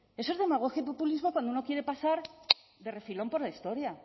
eso es demagogia y populismo cuando uno quiere pasar de refilón por la historia